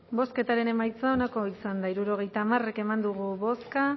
bozketaren emaitza onako izan da hirurogeita hamar eman dugu bozka